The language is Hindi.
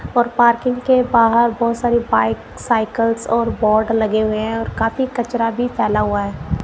और पार्किंग के बाहर बहुत सारी बाइक साइकल्स और बोर्ड लगे हुए हैं और काफी कचरा भी फैला हुआ है।